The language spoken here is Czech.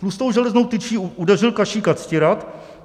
Tlustou železnou tyčí udeřil Kašíka Ctirad.